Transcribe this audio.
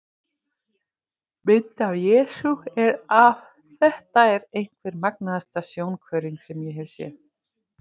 Mynd af Jesú er af Þetta er einhver magnaðasta sjónhverfing sem ég hef séð.